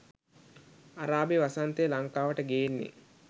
අරාබි වසන්තය ලංකාවට ගේන්නේ